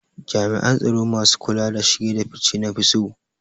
Jami'an tsaro masu kula da shige da fice na fi so